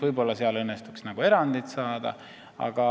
Võib-olla seal õnnestuks siiski erand saada.